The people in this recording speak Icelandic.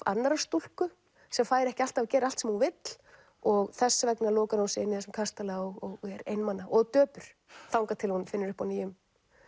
annarrar stúlku sem fær ekki alltaf að gera allt sem hún vill og þess vegna lokar hún sig inni í þessum kastala og er einmana og döpur þangað til hún finnur upp á nýjum